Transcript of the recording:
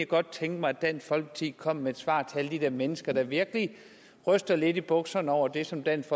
godt tænke mig at dansk folkeparti kom med et svar til alle de der mennesker der virkelig ryster lidt i bukserne over det som dansk